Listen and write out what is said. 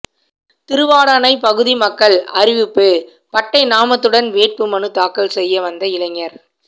திருவாடானை பகுதி மக்கள் அறிவிப்பு பட்டை நாமத்துடன் வேட்புமனு தாக்கல் செய்ய வந்த இளைஞர்